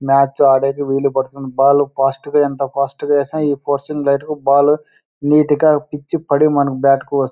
Match ఆడేది వీలు పడుతుంది. బాల్ ఫస్ట్ గ ఎంత ఫాస్ట్ గ వేసిన లైట్ కి బాల్ నీటి గా పిచ్ పది మన బాట్ కి వస్తుం--